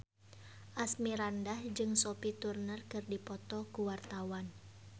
Asmirandah jeung Sophie Turner keur dipoto ku wartawan